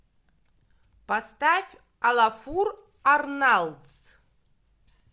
поставь олафур арналдс